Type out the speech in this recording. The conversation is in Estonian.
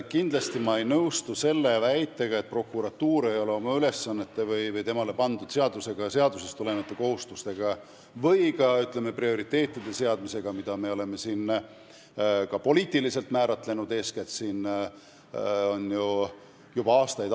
Kindlasti ma ei nõustu väitega, et prokuratuur ei ole oma ülesannete või temale seadusega pandud kohustustega või ka, ütleme, Riigikogu poolt poliitiliselt määratletud prioriteetide seadmisega hakkama saanud.